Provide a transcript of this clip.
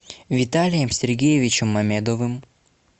виталием сергеевичем мамедовым